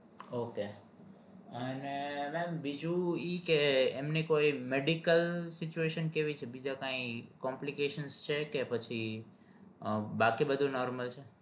ok અને mem બીજું ઈ કે એમને કોઈ medical situation જેવી બીજા કાઈ complication છે કે પછી બાકી બધું normal છે.